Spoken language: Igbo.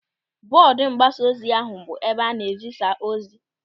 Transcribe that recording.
Bọọdu mgbasaozi ahụ bụ ebe a na-ezisa ozi.